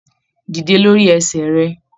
Dídé lórí ẹsẹ rẹ!